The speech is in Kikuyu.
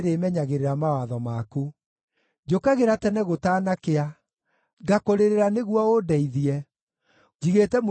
Njũkagĩra tene gũtanakĩa, ngakũrĩrĩra nĩguo ũndeithie; njigĩte mwĩhoko wakwa kiugo-inĩ gĩaku.